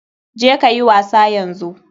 Je kayi wasa yanzu.